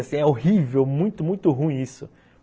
Assim, é horrível, muito, muito ruim isso.